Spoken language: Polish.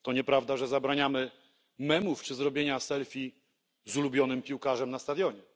To nieprawda, że zabraniamy memów czy zrobienia selfie z ulubionym piłkarzem na stadionie.